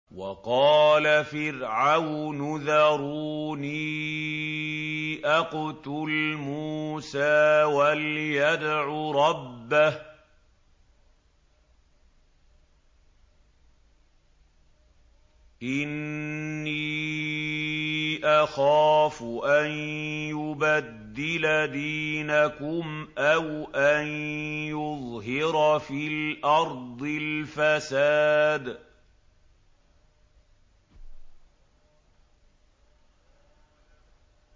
وَقَالَ فِرْعَوْنُ ذَرُونِي أَقْتُلْ مُوسَىٰ وَلْيَدْعُ رَبَّهُ ۖ إِنِّي أَخَافُ أَن يُبَدِّلَ دِينَكُمْ أَوْ أَن يُظْهِرَ فِي الْأَرْضِ الْفَسَادَ